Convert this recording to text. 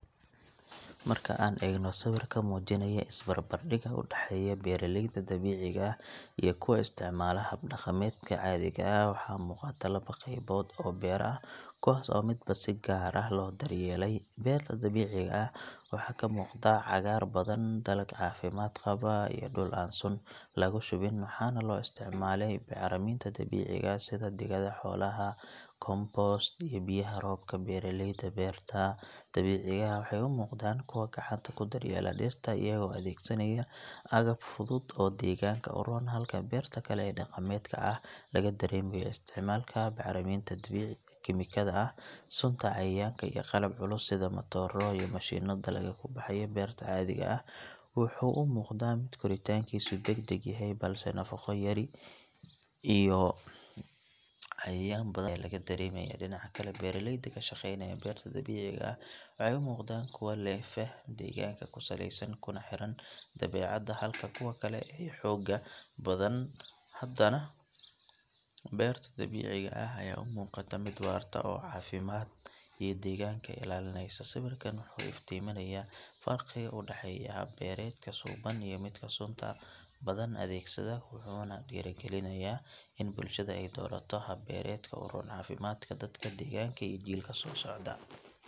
Marka aan eegno sawirka muujinaya isbarbardhigga u dhexeeya beeraleyda dabiiciga ah iyo kuwa isticmaala hab dhaqameedka caadiga ah waxa muuqata laba qaybood oo beero ah kuwaas oo midba si gaar ah loo daryeelay beerta dabiiciga ah waxaa ka muuqda cagaar badan, dalag caafimaad qaba iyo dhul aan sun lagu shubin waxaana loo isticmaalaa bacriminta dabiiciga ah sida digada xoolaha, compost iyo biyaha roobka beeraleyda beerta dabiiciga ah waxay u muuqdaan kuwo gacanta ku daryeelaya dhirta iyaga oo adeegsanaya agab fudud oo deegaanka u roon halka beerta kale ee dhaqameedka ah laga dareemayo isticmaalka bacriminta kiimikada ah, sunta cayayaanka iyo qalab culus sida matooro iyo mashiinno dalagga ka baxaya beerta caadiga ah wuxuu u muuqdaa mid koritaankiisu degdeg yahay balse nafaqo yari iyo cayayaan badan ayaa laga dareemayaa dhinaca kale beeraleyda ka shaqaynaya beerta dabiiciga ah waxay u muuqdaan kuwo leh faham deegaanka ku saleysan kuna xiran dabiicadda halka kuwa kale ay xoogga saareen wax soo saar badan oo degdeg ah inkastoo beerta dhaqameed laga yaabo inay soo saarto dalag badan haddana beerta dabiiciga ah ayaa u muuqata mid waarta oo caafimaadka iyo deegaanka ilaashanaysa sawirkan wuxuu iftiiminayaa farqiga u dhexeeya hab beereedka suuban iyo midka sunta badan adeegsada wuxuuna dhiirrigelinayaa in bulshada ay doorato hab beereedka u roon caafimaadka dadka, deegaanka iyo jiilka soo socda.